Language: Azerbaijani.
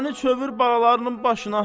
məni çövür balalarının başına.